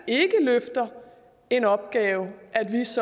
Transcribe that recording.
ikke løfter en opgave